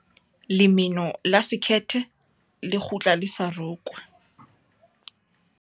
Lemeno la sekhethe le kgutla le sa rokwa.